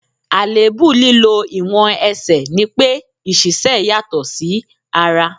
Àléébù lílọ ìwọ̀n Ẹsẹ̀ ní pé ìṣísẹ́ yàtọ̀ sí ara.